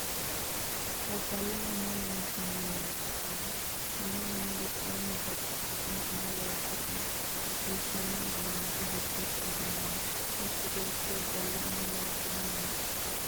labaloho umo loonsani minne ikanna konni minni giddonno babaxino umo loosateno hasiisanno uduunichi giddosi afamanno mittu beeti ofolle umo loosiranni no.